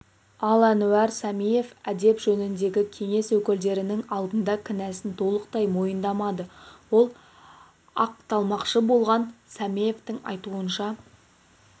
ал әнуар сәмиев әдеп жөніндегі кеңес өкілдерінің алдында кінәсін толықтай мойындамады ол ақталмақшы болған сәмиевтің айтуынша